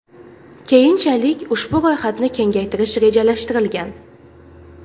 Keyinchalik ushbu ro‘yxatni kengaytirish rejalashtirilgan.